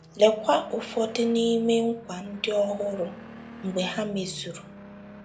Lekwa ụfọdụ n’ime nkwa ndị ọ hụrụ mgbe ha mezuru.